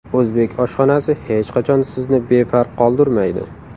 O‘zbek oshxonasi hech qachon sizni befarq qoldirmaydi!